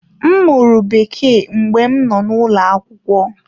M mụrụ Bekee mgbe m nọ n’ụlọ akwụkwọ.